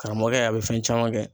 Karamɔgɔkɛ a bɛ fɛn caman kɛ.